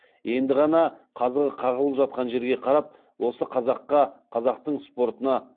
енді ғана қазығы қағылып жатқан жерге қарап осы қазаққа қазақтың спортына